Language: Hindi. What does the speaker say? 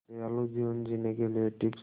दयालु जीवन जीने के लिए टिप्स